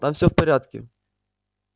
там всё будет в порядке